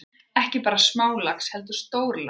Ekki bara smálax heldur stórlax.